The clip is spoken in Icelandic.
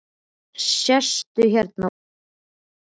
Sestu hérna og láttu fara vel um þig!